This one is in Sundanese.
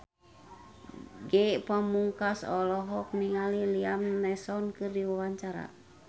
Ge Pamungkas olohok ningali Liam Neeson keur diwawancara